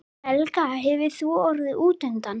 Helga: Hefur þú orðið útundan?